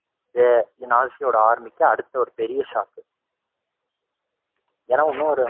இது நாஜியோட army க்கு அடுத்த ஒரு பெரிய shock ஏன்னா இன்னொரு